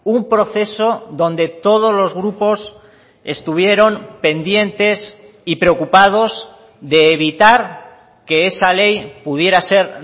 un proceso donde todos los grupos estuvieron pendientes y preocupados de evitar que esa ley pudiera ser